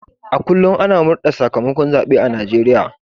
A kullum ana murde da sakamakon zabe a Najeriya